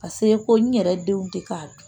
Paseke ko n yɛrɛ denw tɛ ka